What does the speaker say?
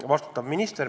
Vastutab minister.